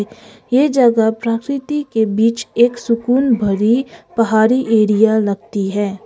ये जगह प्रकृति के बीच एक सुकून भरी पहाड़ी एरिया लगती है।